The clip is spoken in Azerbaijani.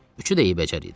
Üçü də eybəcər idi.